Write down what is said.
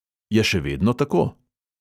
Je še vedno tako?